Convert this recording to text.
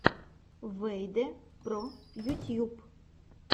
вэйдэ про ютьюб